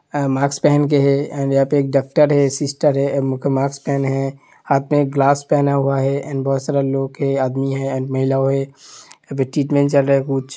Mask पहन के यहां पर डॉक्टर है। सिस्टर है। मास्क पहने हैं हाथ में ग्लास पहना हुआ है एण्ड बोहोत सारा लोग हैं। आदमी हैं। महिला है। अभी ट्रीटमेंट चल रहा है कुछ।